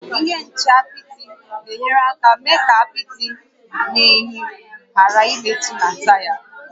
Ihe nche apịtị na-enyere aka mee ka apịtị na unyi ghàrà ịmetụta na taya